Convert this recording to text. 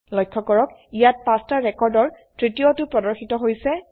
লক্ষ্য কৰক ইয়াত পাঁচটা ৰেকৰ্ড ৰ তৃতীয়টো প্ৰদৰ্শিত হৈছে